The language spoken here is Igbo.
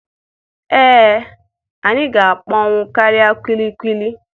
Ee, anyị ga-akpọnwụ karịa kulikuli.